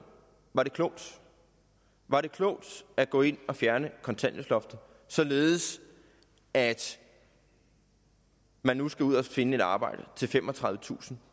var det klogt var det klogt at gå ind og fjerne kontanthjælpsloftet således at man nu skal ud og finde et arbejde til femogtredivetusind